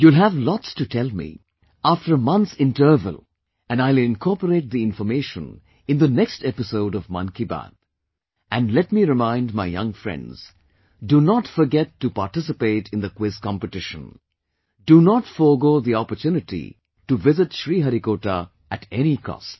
You'll have lots to tell me after a month's interval and I'll incorporate the information in the next episode of 'Mann Ki Baat' and let me remind my young friends that do not forget to participate in the quiz competition, do not forgo the opportunity to visit Sriharikota at any cost